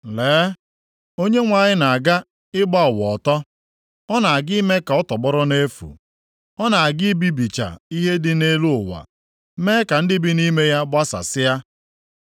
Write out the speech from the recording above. Lee, na Onyenwe anyị na-aga ịgba ụwa ọtọ. Ọ na-aga ime ka ọ tọgbọrọ nʼefu. Ọ na-aga ibibicha ihe dị nʼelu ụwa, mee ka ndị bi nʼime ya gbasasịa.